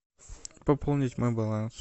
пополнить мой баланс